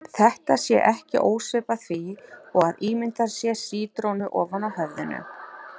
Þetta sé ekki ósvipað því og að ímynda sér sítrónu ofan á höfðinu.